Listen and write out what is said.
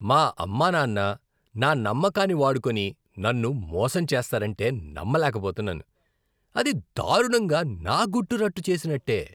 మా అమ్మానాన్న నా నమ్మకాన్ని వాడుకొని నన్ను మోసంచేస్తారంటే నమ్మలేకపోతున్నాను. అది దారుణంగా నా గుట్టు రట్టు చేసినట్టే.